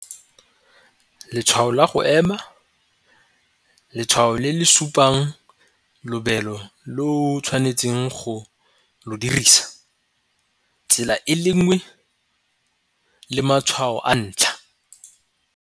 Letshwao la go ema, letshwao le le supang lobelo le o tshwanetseng go lo dirisa, tsela e le nngwe, le matshwao a ntlha.